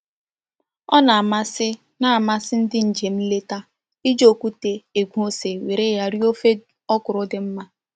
Ọ na-amasị na-amasị ndị njem nleta iji okwute egwe ose were ya rie ofe ọkwụrụ dị mma